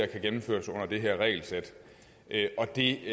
kan gennemføres under det her regelsæt og det